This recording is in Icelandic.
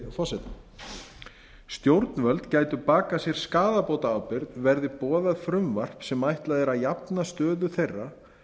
forseta stjórnvöld gætu bakað sér skaðabótaábyrgð verði boðað frumvarp sem ætlað er að jafna stöðu þeirra